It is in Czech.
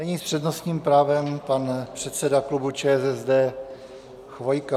Nyní s přednostním právem pan předseda klubu ČSSD Chvojka.